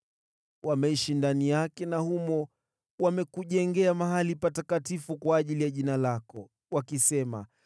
Wameishi ndani yake na humo wamekujengea mahali patakatifu kwa ajili ya Jina lako, wakisema: